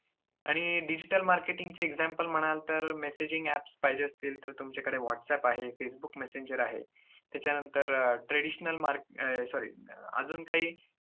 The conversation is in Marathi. आणि digital marketing चे example म्हणाल तर messaging apps पाहिजे असतील तर तुमच्याकडे व्हाटसएप आहे, फेसबुक मेसेंजर आहे. त्याच्यानंतर traditional mark~ अं sorry